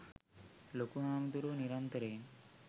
ලොකු හාමුදුරුවෝ නිරන්තරයෙන්